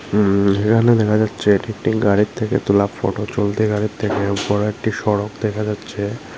উম-এখানে দেখা যাচ্ছে এটি একটি গাড়ির থেকে তোলা ফটো চলতি গাড়ির থেকে উপরে একটি সড়ক দেখা যাচ্ছে।